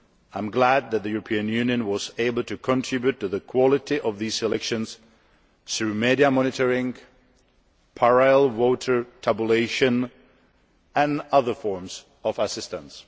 I am glad that the European Union was able to contribute to the quality of these elections through media monitoring, parallel voter tabulation, and other forms of assistance.